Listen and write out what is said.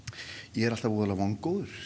ég er alltaf voða vongóður